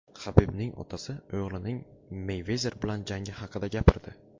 Habibning otasi o‘g‘lining Meyvezer bilan jangi haqida gapirdi.